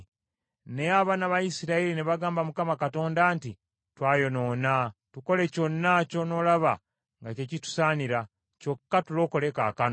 Naye abaana ba Isirayiri ne bagamba Mukama Katonda nti, “Twayonoona. Tukole kyonna ky’onoolaba nga kye kitusaanira. Kyokka tulokole kaakano.